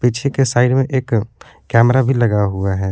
पीछे के साइड में एक कैमरा भी लगा हुआ है।